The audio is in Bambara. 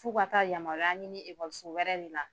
F'u ka taa yamaruya ɲini ekɔliso wɛrɛ de la.